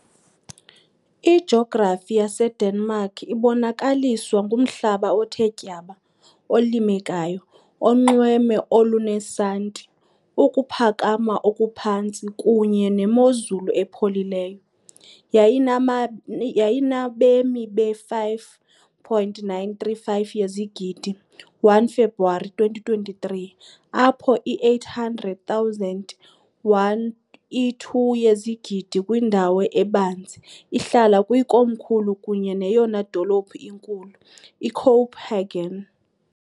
Ijografi yaseDenmark ibonakaliswa ngumhlaba othe tyaba, olimekayo, unxweme olunesanti, ukuphakama okuphantsi, kunye nemozulu epholileyo . Yayinaba yayinabemi be-5.935 yezigidi, 1 February 2023, apho i-800,000, i-2 yezigidi kwindawo ebanzi, ihlala kwikomkhulu kunye neyona dolophu inkulu, iCopenhagen .